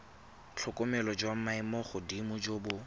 tlhokomelo jwa maemogodimo jo bo